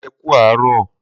Mo kí e kú àárọ̀